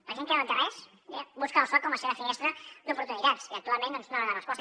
la gent que no té res busca al soc com la seva finestra d’oportunitats i actualment doncs no dona resposta